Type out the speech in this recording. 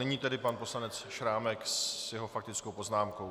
Nyní tedy pan poslanec Šrámek se svou faktickou poznámkou.